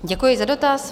Děkuji za dotaz.